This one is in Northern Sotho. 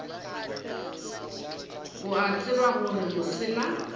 o a tseba gore mosela